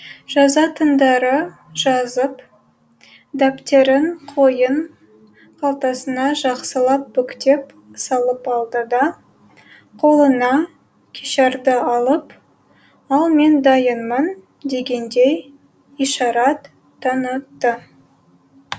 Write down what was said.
жазатындары жазып дәптерін қойын қалтасына жақсылап бүктеп салып алды да қолына кешарды алып ал мен дайынмын дегендей ишарат танытты